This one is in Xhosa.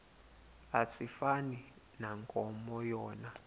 asifani nankomo yona